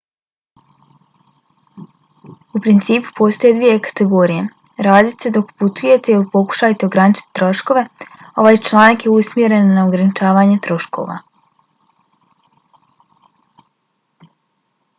u principu postoje dvije kategorije: radite dok putujete ili pokušajte ograničiti troškove. ovaj članak je usmjeren na ograničavanje troškova